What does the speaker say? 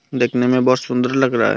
देखने में बहोत सुंदर लग रहा है।